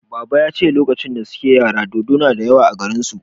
Baba ya ce lokacin da suke yara dodo na da yawa a garin su